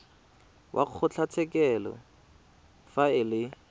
wa kgotlatshekelo fa e le